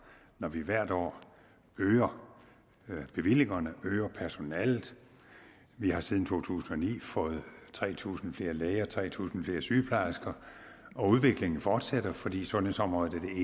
når vi hvert år øger bevillingerne øger personalet vi har siden to tusind og ni fået tre tusind flere læger og tre tusind flere sygeplejersker og udviklingen fortsætter fordi sundhedsområdet er